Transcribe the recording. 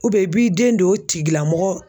i b'i den don o tigilamɔgɔ